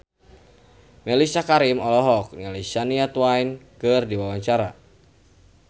Mellisa Karim olohok ningali Shania Twain keur diwawancara